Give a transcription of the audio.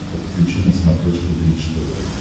подключи на смотрешке бридж тв